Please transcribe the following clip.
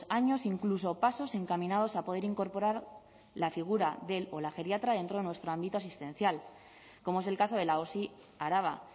años incluso pasos encaminados a poder incorporar la figura del o la geriatra dentro de nuestro ámbito asistencial como es el caso de la osi araba